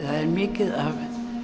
er mikið af